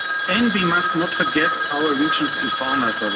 as common activities. And we must not forget our